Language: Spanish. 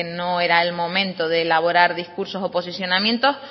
no era el momento de elaborar discursos o posicionamientos